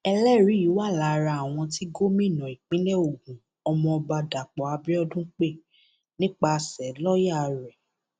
ẹlẹrìí yìí wà lára àwọn tí gómìnà ìpínlẹ ogun ọmọọba dàpọ abiodun pé nípasẹ lọọyà rẹ